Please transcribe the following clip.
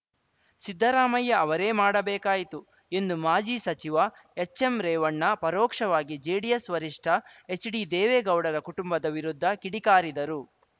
ಸಿದ್ದರಾಮಯ್ಯ ಅವರೇ ಮಾಡಬೇಕಾಯಿತು ಎಂದು ಮಾಜಿ ಸಚಿವ ಎಚ್‌ಎಂರೇವಣ್ಣ ಪರೋಕ್ಷವಾಗಿ ಜೆಡಿಎಸ್‌ ವರಿಷ್ಠ ಎಚ್‌ಡಿ ದೇವೇಗೌಡರ ಕುಟುಂಬದ ವಿರುದ್ಧ ಕಿಡಿ ಕಾರಿದರು